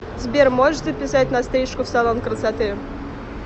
сбер можешь записать на стрижку в салон красоты